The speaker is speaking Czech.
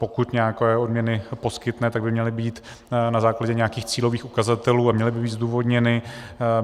Pokud nějaké odměny poskytne, tak by měly být na základě nějakých cílových ukazatelů a měly by být zdůvodněny.